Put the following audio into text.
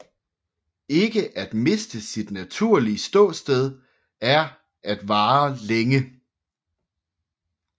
Ikke at miste sit naturlige ståsted er at vare længe